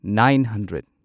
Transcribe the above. nine hundred